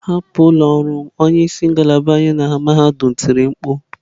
Hapụ ụlọ ọrụ m, onye isi ngalaba anyị na mahadum tiri mkpu.